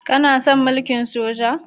Kana son mulkin soja?